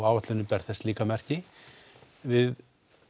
áætlunin ber þess líka merki við